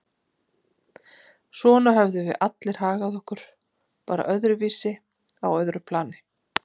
Svona höfðum við allir hagað okkur, bara öðruvísi, á öðru plani.